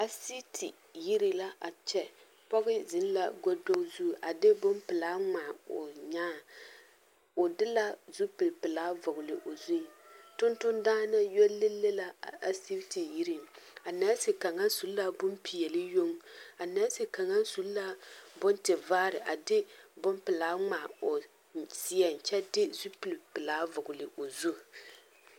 Asiti yiri la a kyɛ pɔge ziŋ la godo zu a de bompelaa ŋmaa o nyaa o de la zupil pelaa vɔgle o zuŋ tuntundaana yɔ leŋ la asiti yiriŋ nɛɛsi kaŋa su la bonpeɛle yoŋ a nɛɛsi kaŋa su la bontivaare a de bompelaa ŋmaa o seɛŋ kyɛ de zupil pelaa vɔgle o zu.